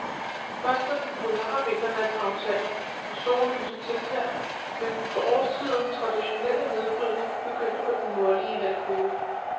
Først når den polare vinternat aftager, og sollyset tiltager, vil den for årstiden traditionelle nedbrydning begynde på den nordlige halvkugle.